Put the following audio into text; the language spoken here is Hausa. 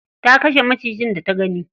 Ta kashe macijin da ta gani.